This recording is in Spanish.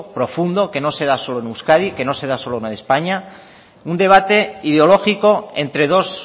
profundo que no se da solo en euskadi que no se da solo en españa un debate ideológico entre dos